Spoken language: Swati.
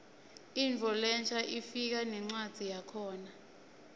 intfo lensha ifika nencwadzi yakhona